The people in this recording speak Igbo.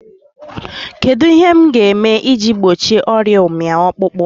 Kedụ ihe m ga-eme iji gbochie ọrịa ụmị ọkpụkpụ?